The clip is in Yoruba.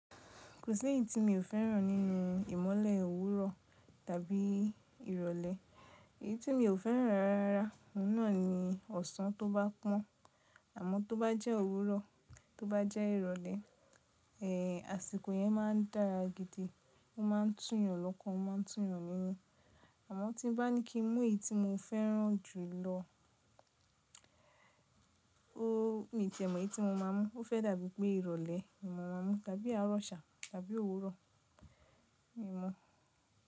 Kò sí ẹ̀yì tí mi ò fẹ́ràn nínú ìmọ́lẹ̀ òwúrọ̀ tàbí ìrọ̀lẹ́. Èyí tí mi ò fẹ́ràn rárá òun náà ni ọ̀sán tó bá pọ́n. Àmọ́ tó bá jẹ́ òwúrọ̀, tó bá jẹ́ ìrọ̀lẹ́, ẹ́, àsìkò yẹn máa ń dára gidi, ó máa ń túnyàn lọ́kàn, ó máa ń túnyàn nínú. Àmọ́ tí bá ní kí n mú èyí tí mo fẹ́ràn jù lọ, ooo, mi ò tíì mọ èyí tí mo máa mú. Ó fẹ́ dàbí pé ìrọ̀lẹ́ ni mo máa mú tàbí àárọ̀ sá tàbí òwúrọ̀ mi ọ mọ̀n.